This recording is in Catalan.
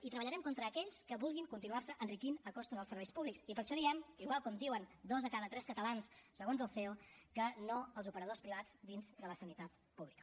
i treballarem contra aquells que vulguin continuar se enriquint a costa dels serveis públics i per això diem igual com diuen dos de cada tres catalans segons el ceo que no als operadors privats dins de la sanitat pública